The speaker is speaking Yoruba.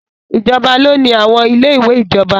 Ìjọba ló ni àwọn ilé ìwé ìjọba.